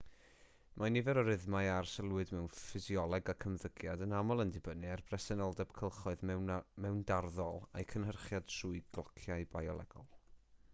mae nifer o rythmau a arsylwyd mewn ffisioleg ac ymddygiad yn aml yn dibynnu ar bresenoldeb cylchoedd mewndarddol a'u cynhyrchiad trwy glociau biolegol